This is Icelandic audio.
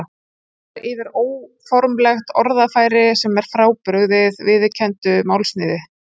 Það nær yfir óformlegt orðfæri sem er frábrugðið viðurkenndu málsniði.